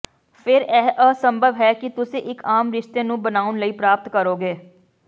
ਫਿਰ ਇਹ ਅਸੰਭਵ ਹੈ ਕਿ ਤੁਸੀਂ ਇੱਕ ਆਮ ਰਿਸ਼ਤੇ ਨੂੰ ਬਣਾਉਣ ਲਈ ਪ੍ਰਾਪਤ ਕਰੋਗੇ